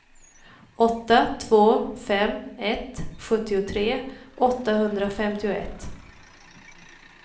åtta två fem ett sjuttiotre åttahundrafemtioett